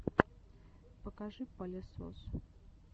покажи палесос